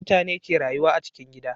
Mutane ke rayuwa a cikin gida